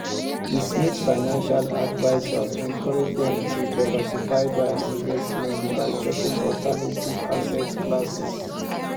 di smiths financial advisor encourage dem to diversify dia investments by checking alternative asset classes